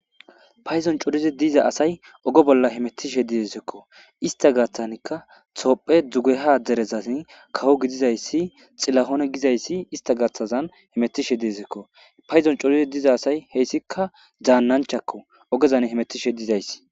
Paydon coridi dida asay oge bolla hemetishe dizayssakko. Istta gaathanikka tophe dugeha derezazi kawo gidizayssi xilahonne gidizayssi istta gaatazan hemetishe de7eeskko. Payduwan coridi dida asay hessikka daananchakko ogezan hemetishe dizayssi.